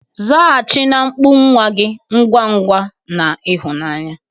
Zaghachi na mkpu nwa gị ngwa ngwa na ịhụnanya.